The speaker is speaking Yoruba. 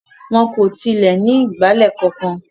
Wọn kò tilẹ̀ ní ìgbálẹ̀ kankan.